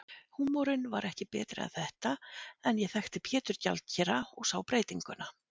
Húmorinn var ekki betri en þetta, en ég þekkti Pétur gjaldkera og sá breytinguna.